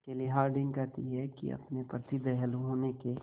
केली हॉर्डिंग कहती हैं कि अपने प्रति दयालु होने के